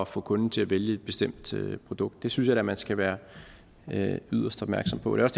få kunden til at vælge et bestemt produkt det synes jeg da man skal være yderst opmærksom på det